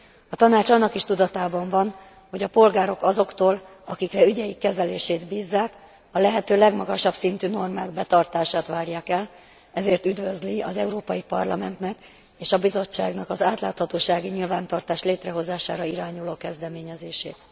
A Tanács annak is tudatában van, hogy a polgárok azoktól, akikre ügyeik kezelését bízzák, a lehető legmagasabb szintű normák betartását várják el, ezért üdvözli az Európai Parlamentnek és a Bizottságnak az átláthatósági nyilvántartás létrehozására irányuló kezdeményezését.